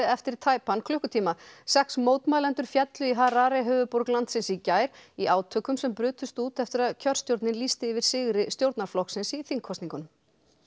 eftir tæpan klukkutíma sex mótmælendur féllu í Harare höfuðborg landsins í gær í átökum sem brutust út eftir að kjörstjórnin lýsti yfir sigri stjórnarflokkins í þingkosningum